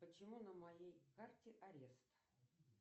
почему на моей карте арест